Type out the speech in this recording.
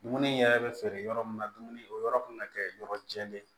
Dumuni yɛrɛ bɛ feere yɔrɔ min na dumuni o yɔrɔ kan ka kɛ yɔrɔ jɛlen ye